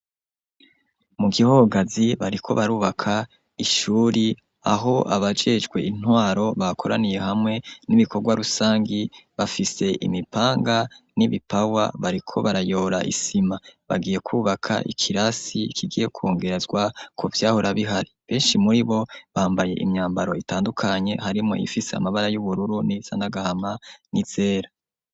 Mu gihogazi bariko barubaka Ishure aho abajejwe Intwaro bakoraniye hamwe n'ibikorwa rusangi bafise imipanga n'ibipawa bariko barayora isima bagiye kubaka ikirasi kigiye kongerezwa ko vyahorabihari benshi muri bo bambaye imyambaro itandukanye harimo yifise amabara y'ubururu n'izanagahama n'izera.